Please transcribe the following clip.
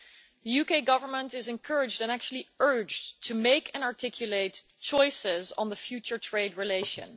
The UK Government is encouraged and, actually, urged to make and articulate choices on the future trade relations.